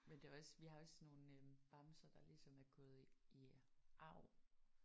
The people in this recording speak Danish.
Men det er også vi har også nogle øh bamser der ligesom er gået i arv